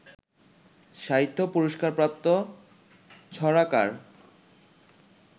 সাহিত্য পুরস্কারপ্রাপ্ত ছড়াকার